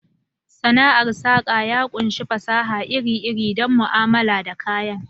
Sana'ar saka ya ƙunshi fasaha iri-iri don mu'amala da kayan.